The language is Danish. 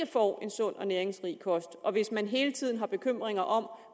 får en sund og næringsrig kost og hvis man hele tiden har bekymringer om